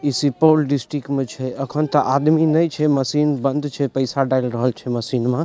Supaul district में छै एखन ते आदमी ने छै मशीन बंद छै पैसा डाएल रहल छै मशीन मे।